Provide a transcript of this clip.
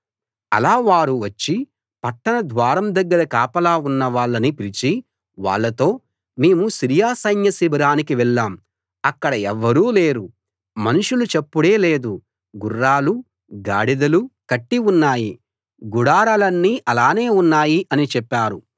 అలా వారు వచ్చి పట్టణ ద్వారం దగ్గర కాపలా ఉన్నవాళ్ళని పిలిచి వాళ్ళతో మేము సిరియా సైన్య శిబిరానికి వెళ్ళాం అక్కడ ఎవ్వరూ లేరు మనుషుల చప్పుడే లేదు గుర్రాలూ గాడిదలూ కట్టి ఉన్నాయి గుడారాలన్నీ అలానే ఉన్నాయి అని చెప్పారు